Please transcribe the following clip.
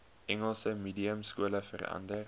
engels mediumskole verander